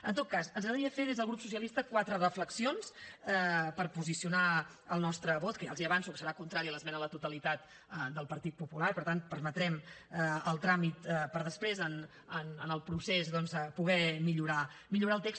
en tot cas ens agradaria fer des del grup socialista quatre reflexions per posicionar el nostre vot que ja els avanço que serà contrari a l’esmena a la totalitat del partit popular i per tant permetrem el tràmit per després en el procés doncs poder millorar el text